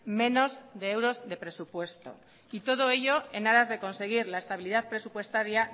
menos de euros de presupuesto y todo ello en aras de conseguir la estabilidad presupuestaria